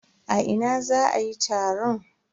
A ina za a yi taron?